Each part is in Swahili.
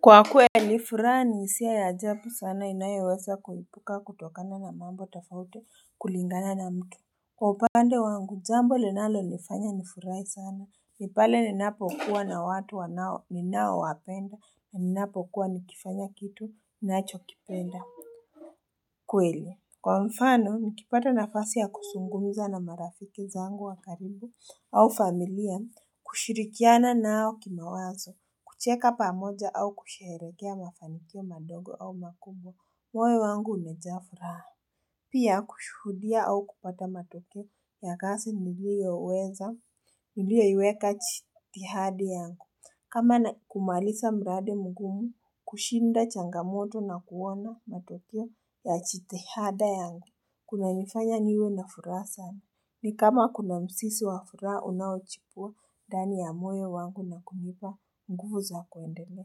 Kwa kweli, furaha ni hisia ya ajabu sana inayoweza kulipuka kutokana na mambo tafauti kulingana na mtu Kwa upande wangu jambo linalonifanya nifurahi sana ni pale ninapokuwa na watu wanao ninao wapenda na ninapokuwa nikifanya kitu ninachokipenda Kwa mfano, mikipata nafasi ya kuzungumiza na marafiki zangu wa karibu au familia, kushirikiana nao kimawazo, kucheka pamoja au kusherekea mafanikio madogo au makubwa, moyo wangu unajaa furaha. Pia kushuhudia au kupata matokeo ya kazi niliyoweza, niliyoweka jitihada yangu. Kama kumaliza mradi mgumu, kushinda changamoto na kuona matokeo ya jitihada yangu. Kunanifanya niwe na furaha sana, ni kama kuna mzizi wa furaha unaochipua ndani ya moyo wangu na kunipa nguvu za kuendelea.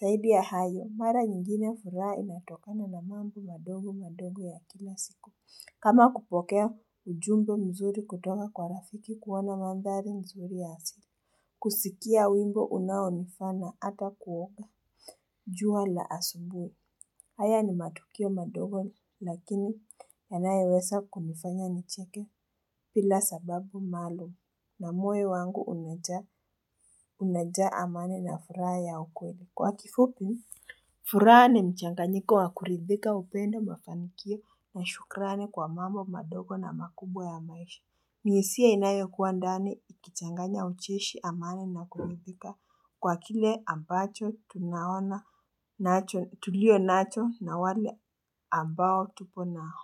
Zaidi ya hayo, mara nyingine furaha inatokana na mambo madogo madogo ya kila siku. Kama kupokea ujumbe mzuri kutoka kwa rafiki, kuona mandhari nzuri asili. Kusikia wimbo unaonifana ata kuota jua la asubuhi. Haya ni matukio madogo lakini yanayoweza kunifanya nicheke bila sababu maalumu na moyo wangu umejaa amani na furaha ya kweli. Kwa kifupi, furaha ni mchanganyiko wa kuridhika, upendo, mafanikio na shukrani kwa mambo madogo na makubwa ya maisha. Ni hisia inayo kuwa ndani ikichanganya ucheshi, amani na kuridhika kwa kile ambacho tunaona, tulicho nacho na wale ambao tupo nao.